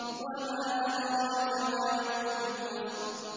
وَمَا أَدْرَاكَ مَا يَوْمُ الْفَصْلِ